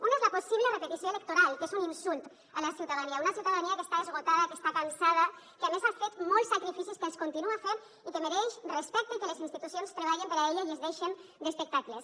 un és la possible repetició electoral que és un insult a la ciutadania una ciutadania que està esgotada que està cansada que a més ha fet molts sacrificis que els continua fent i que mereix respecte i que les institucions treballen per a ella i es deixen d’espectacles